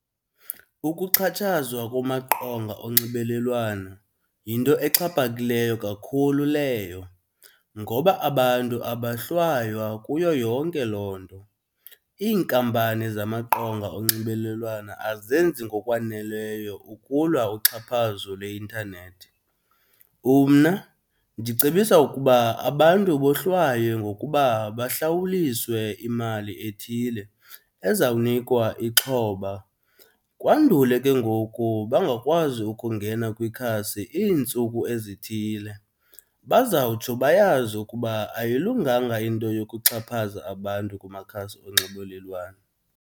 Ukuxhatshazwa kumaqonga onxibelelwana yinto exhaphakileyo kakhulu leyo ngoba abantu abahlwaywa kuyo yonke loo nto. Iinkampani zamaqonga onxibelelwana azenzi ngokwaneleyo ukulwa uxhaphazo lwe-intanethi. Umna ndicebisa ukuba abantu bohlwaywe ngokuba bahlawuliswe imali ethile ezawunikwa ixhoba kwandule ke ngoku bangakwazi ukungena kwikhasi iintsuku ezithile. Bazawutsho bayazi ukuba ayilunganga into yokuxhaphaza abantu kumakhasi onxibelelwana.